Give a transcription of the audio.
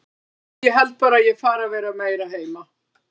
Úff, ég held bara að ég fari að vera meira heima.